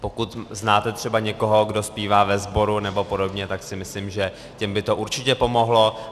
Pokud znáte třeba někoho, kdo zpívá ve sboru, nebo podobně, tak si myslím, že těm by to určitě pomohlo.